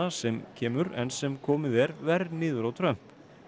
sem kemur enn sem komið er verr niður á Trump